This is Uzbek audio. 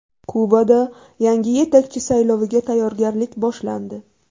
Kubada yangi yetakchi sayloviga tayyorgarlik boshlandi.